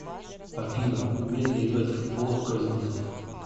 афина умеет ли играть в футбол козинцев